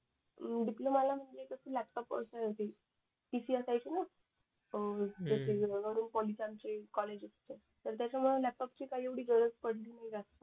अं डिप्लोमाला म्हणजे कस लॅपटॉप PC असायचे न अं पॉली चे आमचे कॉलेज त्याच्यामुळे लॅपटॉपची काही एवढी गरज पडली नाही जास्त